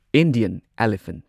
Indian elephant